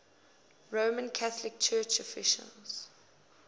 roman catholic church offices